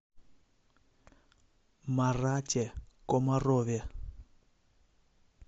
марате комарове